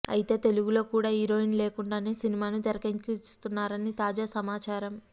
అయితే తెలుగులో కూడా హీరోయిన్ లేకుండానే సినిమాను తెరకెక్కించనున్నారని తాజా సమాచారం